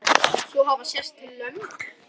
Svo hafa sést lömb.